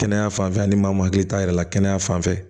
Kɛnɛya fanfɛ a ni maakili t'a yɛrɛ la kɛnɛya fanfɛ